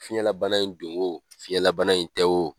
Fiɲɛlabana in don o fiɲɛlabana in tɛ o